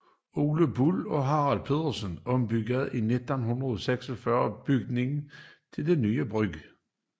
Ole Buhl og Harald Petersen ombyggede 1946 bygningen til den nye brug